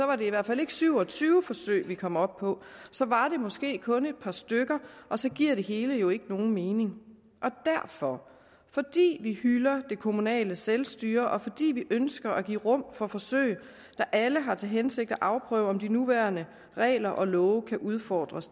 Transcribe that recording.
var det i hvert fald ikke syv og tyve forsøg vi kom op på så var det måske kun et par stykker og så giver det hele jo ikke nogen mening derfor fordi vi hylder det kommunale selvstyre og fordi vi ønsker at give rum for forsøg der alle har til hensigt at afprøve om de nuværende regler og love kan udfordres